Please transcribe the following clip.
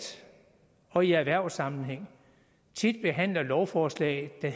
og i erhvervssammenhæng tit behandler lovforslag der